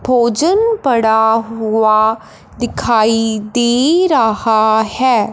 भोजन पड़ा हुआ दिखाई दे रहा है।